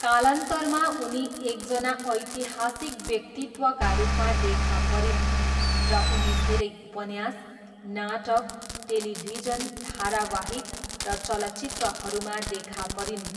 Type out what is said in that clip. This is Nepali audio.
कालान्तरमा उनी एकजना ऐतिहासिक व्यक्तित्वका रूपमा देखा परिन् र उनी धेरै उपन्यास, नाटक, टेलिभिजन, धारावाहिक र चलचित्रहरूमा देखा परिन्।